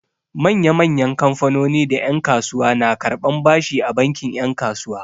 Manya-manyan kamfanoni da yan'kasuwa na karɓan bashi a bankin 'yan kasuwa.